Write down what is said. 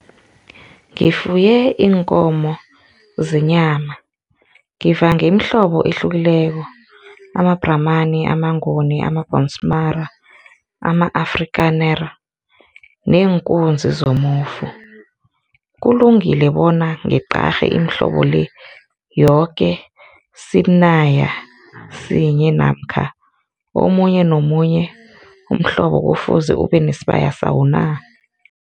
Ngifuye iinkomo zenyama, ngivange imihlobo ehlukileko, amabhramani, amanguni, amabhonsmara, ama-Afrikaner neenkunzi zomofu. Kulungile bona ngiqarhe imihlobo le yoke sibaya sinye namkha omunye nomunye umhlobo kufuze ubenesibaya sawo na?